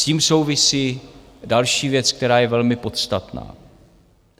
S tím souvisí další věc, která je velmi podstatná.